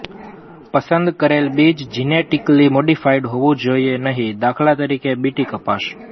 પસંદ કરેલ બીજ જીનેટિકલી મોડિફાઈડ હોવું જોઈએ નહિ દા ત બીટી કપાસ